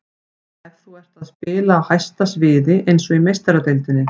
Ef þú ert að spila á hæsta sviði, eins og í Meistaradeildinni.